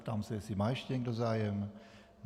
Ptám se, jestli má ještě někdo zájem.